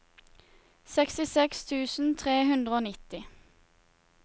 sekstiseks tusen tre hundre og nitti